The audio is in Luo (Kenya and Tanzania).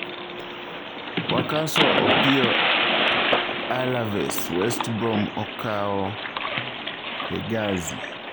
Wakaso opiyo Alaves, West Brom okawo Hegazi.